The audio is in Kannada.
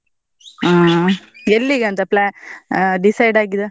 ಹಾ ಎಲ್ಲಿಗೆ ಅಂತ plan ಆ decide ಆಗಿದೆ?